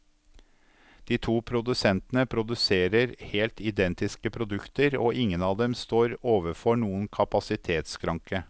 De to produsentene produserer helt identiske produkter, og ingen av dem står overfor noen kapasitetsskranke.